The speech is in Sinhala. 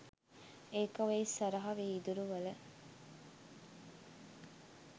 ඒක ඔය ඉස්සරහ විදුරුවල